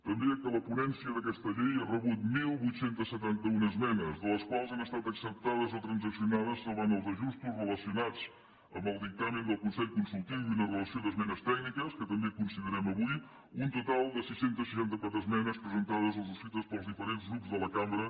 també que la ponència d’aquesta llei ha rebut divuit setanta u esmenes de les quals han estat acceptades o transaccionades salvant els ajustos relacionats amb el dictamen del consell consultiu i una relació d’esmenes tècniques que també considerem avui un total de sis cents i seixanta quatre esmenes presentades o subscrites pels diferents grups de la cambra